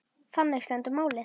Þannig stendur málið.